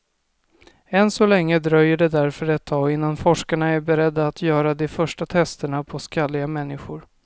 Än så länge dröjer det därför ett tag innan forskarna är beredda att göra de första testerna på skalliga människor.